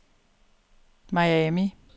Miami